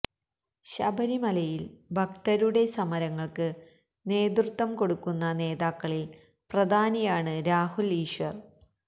ശബരിമലയിലെ ഭക്തരുടെ സമരങ്ങൾക്ക് നേതൃത്വം കൊടുക്കുന്ന നേതാക്കളിൽ പ്രധാനിയാണ് രാഹുൽ ഈശ്വർ